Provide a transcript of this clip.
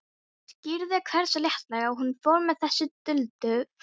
Það skýrði hversu léttilega hún fór með þessi duldu fræði.